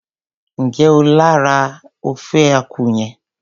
Njẹ o jẹ lára ofe akwu yẹn?